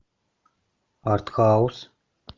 артхаус